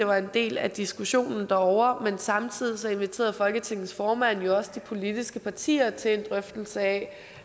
var en del af diskussionen derovre men samtidig inviterede folketingets formand jo også de politiske partier til en drøftelse af